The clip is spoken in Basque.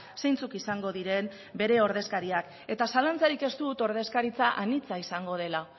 zeintzuk izango diren bere ordezkariak eta zalantzarik ez dut ordezkaritza anitza izango dela